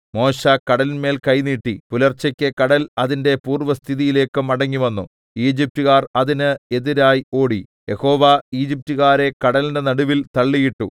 മോശെ കടലിന്മേൽ കൈ നീട്ടി പുലർച്ചയ്ക്ക് കടൽ അതിന്റെ പൂർവ്വസ്ഥിതിയിലേക്ക് മടങ്ങിവന്നു ഈജിപ്റ്റുകാർ അതിന് എതിരായി ഓടി യഹോവ ഈജിപ്റ്റുകാരെ കടലിന്റെ നടുവിൽ തള്ളിയിട്ടു